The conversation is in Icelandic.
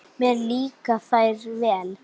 Mér líka þær vel.